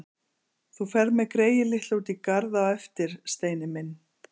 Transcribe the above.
Þú ferð með greyið litla út í garð á eftir, Steini minn!